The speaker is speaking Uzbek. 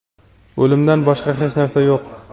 o‘limdan boshqa hech narsa yo‘q.